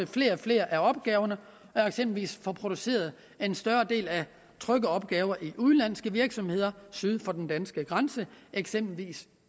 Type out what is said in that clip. flere og flere af opgaverne og eksempelvis få produceret en større del af trykkeopgaverne i udenlandske virksomheder syd for den danske grænse eksempelvis